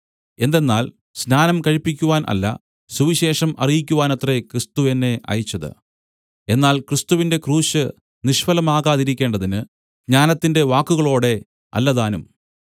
എന്തെന്നാൽ സ്നാനം കഴിപ്പിക്കുവാൻ അല്ല സുവിശേഷം അറിയിക്കുവാനത്രേ ക്രിസ്തു എന്നെ അയച്ചത് എന്നാൽ ക്രിസ്തുവിന്റെ ക്രൂശ് നിഷ്ഫലമാകാതിരിക്കേണ്ടതിന് ജ്ഞാനത്തിന്റെ വാക്കുകളോടെ അല്ലതാനും